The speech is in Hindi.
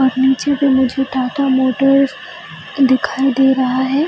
और नीचे में मुझे टाटा मोटर्स दिखाई दे रहा है ।